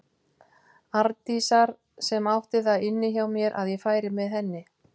Arndísar sem átti það inni hjá mér að ég færi með henni.